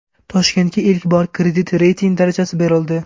Toshkentga ilk bor kredit reyting darajasi berildi.